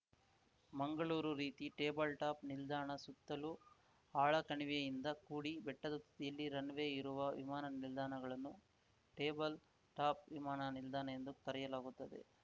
ಮಂಗಳೂರು ರೀತಿ ಟೇಬಲ್‌ಟಾಪ್‌ ನಿಲ್ದಾಣ ಸುತ್ತಲೂ ಆಳ ಕಣಿವೆಯಿಂದ ಕೂಡಿ ಬೆಟ್ಟದ ತುದಿಯಲ್ಲಿ ರನ್‌ ವೇ ಇರುವ ವಿಮಾನ ನಿಲ್ದಾಣಗಳನ್ನು ಟೇಬಲ್ ಟಾಪ್‌ ವಿಮಾನ ನಿಲ್ದಾಣ ಎಂದು ಕರೆಯಲಾಗುತ್ತದೆ